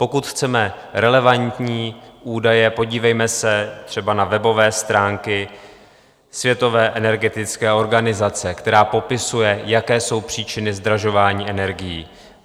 Pokud chceme relevantní údaje, podívejme se třeba na webové stránky světové energetické organizace, která popisuje, jaké jsou příčiny zdražování energií.